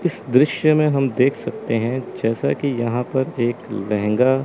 इस दृश्य में हम देख सकते हैं जैसा कि यहां पर एक लहंगा--